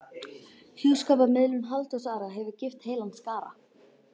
Hjúskaparmiðlun Halldórs Ara hefur gift heilan skara